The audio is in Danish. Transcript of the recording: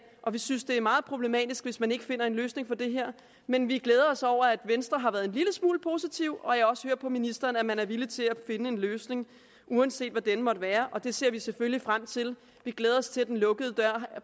og vi synes at det er meget problematisk hvis man ikke finder en løsning på det her men vi glæder os over at venstre har været en lille smule positiv og jeg hører også på ministeren at man er villig til at finde en løsning uanset hvad denne måtte være og det ser vi selvfølgelig frem til vi glæder os til at den lukkede dør